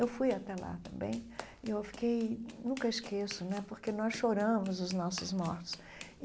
Eu fui até lá também e eu fiquei... nunca esqueço, né, porque nós choramos os nossos mortos.